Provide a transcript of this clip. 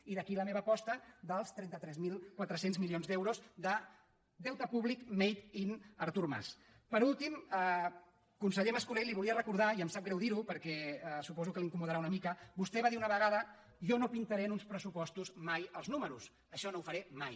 i d’aquí la meva aposta dels trenta tres mil quatre cents milions d’euros de deute públic made inper últim conseller mas·colell li volia recordar i em sap greu dir·ho perquè suposo que l’incomo·darà una mica que vostè va dir una vegada jo no pintaré en uns pressupostos mai els números això no ho faré mai